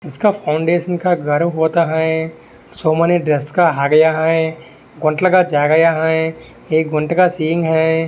इसका फ़ाउंडेशन का घर होता है सो मेनी ड्रेस का-- ]